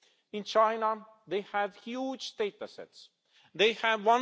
In China they have huge data sets, they have